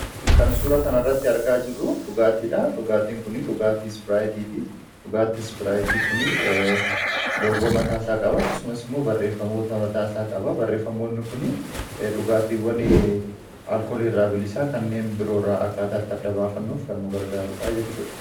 kan suura kanarratti argaa jirru dhugaatii dha dhugaatiin kun dhugaatiis biraayitiiti dhugaatiis biraayitii kun logoo mataasaa qaba akkasumas immoo barreeffamoota mataasaa qaba barreeffamoonni kun dhugaatiiwwan alkoolii irraa bilisaa kanneen biroo rraa akkaataatti addabaafannuuf gannugargaarudhaa jechuudha